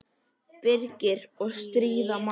Birgir: Og stríða manni.